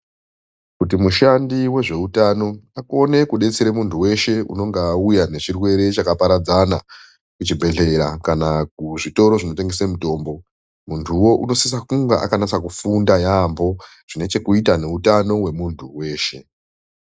Kuti mushandi wezveutano akone kudetsera muntu weshe anonga auya nechirwere chakaparadzana kuchibhedhlera kana kuzvitoro zvinotengese mutombo muntuwo unosisa kunge akanatsa kufunda yaambo zvinechekuita neutano hwemuntu weshe.